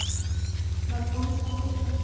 બધાને સારું છે